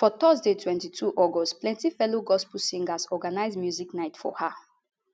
for thursday 22 august plenti fellow gospel singers organise music night for her